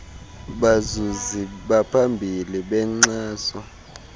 bazuzi baphambili benkxaso